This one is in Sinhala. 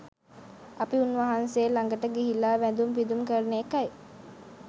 අපි උන්වහන්සේ ළඟට ගිහිල්ලා වැඳුම් පිදුම් කරන එකයි